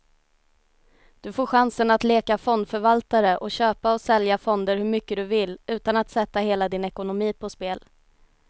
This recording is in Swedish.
Du får chansen att leka fondförvaltare och köpa och sälja fonder hur mycket du vill, utan att sätta hela din ekonomi på spel.